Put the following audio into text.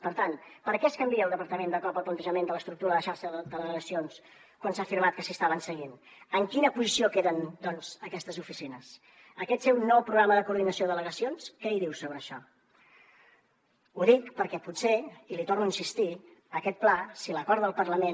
per tant per què es canvia al departament de cop el plantejament de l’estructura de xarxa de delegacions quan s’ha afirmat que s’hi estaven seguint en quina posició queden doncs aquestes oficines aquest seu nou programa de coordinació de delegacions què hi diu sobre això ho dic perquè potser i li torno a insistir aquest pla si l’acorda el parlament